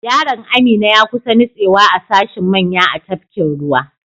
Yaron Amina ya kusa nutsewa a sashin manya a tafkin ruwa.